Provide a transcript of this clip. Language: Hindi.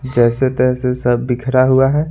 जैसे तैसे सब बिखरा हुआ है।